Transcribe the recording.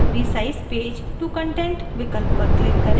resize page to content विकल्प पर click करें